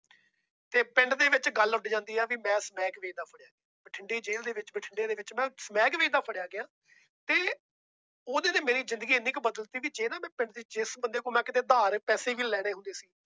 ਤੇ ਪਿੰਡ ਦੇ ਵਿੱਚ ਗੱਲ ਉੱਡ ਜਾਂਦੀ ਆ ਵੀ ਮੈਂ ਸਮੈਕ ਵੇਚਦਾ ਫੜਿਆ, ਬਠਿੰਡੇ ਜੇਲ ਦੇ ਵਿੱਚ ਬਠਿੰਡੇ ਦੇ ਵਿੱਚ ਮੈਂ ਸਮੈਕ ਵੇਚਦਾ ਫੜਿਆ ਗਿਆ ਤੇ ਉਹਦੇ ਤੇ ਮੇਰੀ ਜ਼ਿੰਦਗੀ ਇੰਨੀ ਕੁ ਬਦਲ ਦਿੱਤੀ ਵੀ ਜਿਹੜੇ ਮੈਂ ਪਿੰਡ ਦੇ ਜਿਸ ਬੰਦੇ ਕੋਲੋਂ ਮੈਂ ਕਿਤੇ ਉਧਾਰੇ ਪੈਸੇ ਵੀ ਲੈਣੇ ਹੁੰਦੇ ਸੀ